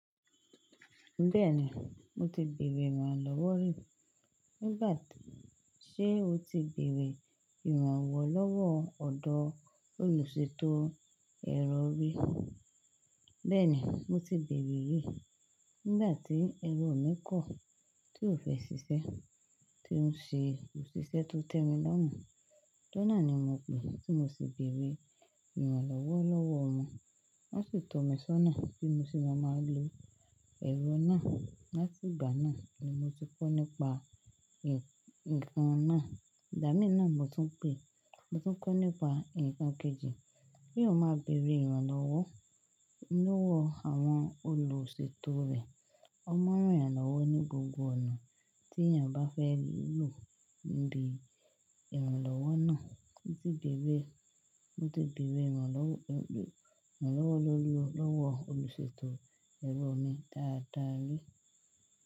Bẹ́ẹ̀ni, mo ti bèrè ìrànlọ́wọ́ rí. Nígbà tí, ṣe o ti bèrè ìrànwọ́ lọ́wọ́ ọ̀dọ́ olùṣètò ẹ̀rọ rí? Bẹ́ẹ̀ni, mo ti bèrè rí. Nígbà tí ẹ̀rọ mi kọ̀, tí ò fẹ́ ṣiṣẹ́, tí ń ṣe òṣìṣẹ́ tó tẹ́mi lọ́mú. Jónà ni mo pè, tí mo sì bèrè ìrànlọ́wọ́ lọ́wọ́ won. Wọ́n sì tọ̀ mí sọ́nà bí mo ṣe máa máa lo ẹ̀rọ náà. Láti ìgbà náà ni mo ti kọ́ nípa nǹkan náà. Ìgbámí náà mo tún pè, mo tún kọ́ nípa nǹkan kejì. Kí eyan máa bèrè ìrànlọ́wọ́ lọ́wọ́ àwọn olùṣètò rẹ̀. Wọ́n mọ ràn yan lọ́wọ́ ní gbogbo ọ̀nà tí èèyàn bá fẹ́ lò níbi ìrànlọ́wọ́ náà. Mo ti bèrè, mo ti bèrè ìrànlọ́wọ́, ìrànlọ́wọ́ lórí, lọ́wọ́ olùṣètò ẹ̀rọ mi dáadáa rí.